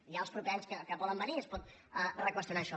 hi ha els propers anys que poden venir i es pot reqüestionar això